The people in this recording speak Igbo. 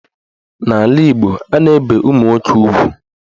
N'ala Igbo, a na-ebe ụmụnwoke ugwu.